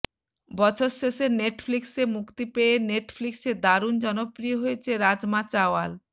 বছর শেষে নেটফ্লিক্সে মুক্তি পেয়ে নেটফ্লিক্সে দারুণ জনপ্রিয় হয়েছে রাজমা চাওয়াল